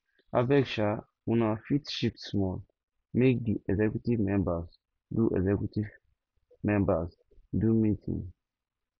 abeg um una fit shift small make di executive members do executive members do meeting